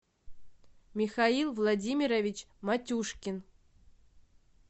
михаил владимирович матюшкин